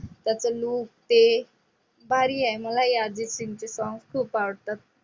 त्याचं look ते भारी आहे मलाही अर्जित सिंगचे song खूप आवडतात.